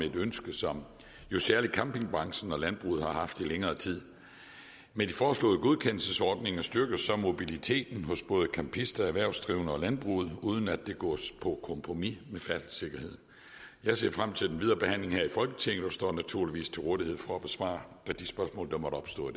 et ønske som jo særlig campingbranchen og landbruget har haft i længere tid med de foreslåede godkendelsesordninger styrkes mobiliteten hos både campister erhvervsdrivende og landbruget uden at det går på kompromis med færdselssikkerheden jeg ser frem til den videre behandling her i folketinget og står naturligvis til rådighed for at besvare de spørgsmål der måtte opstå